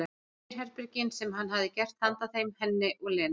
Sérherbergin sem hann hefði gert handa þeim, henni og Lenu.